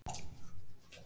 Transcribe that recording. Þau náðu alltaf vel saman.